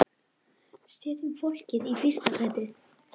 Setjum fólkið í fyrsta sæti.